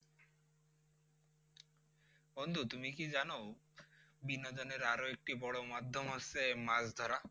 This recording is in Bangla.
বন্ধু তুমি কি জানো বিনোদনের আরো একটি বড় মাধ্যম হচ্ছে মাছ ধরা?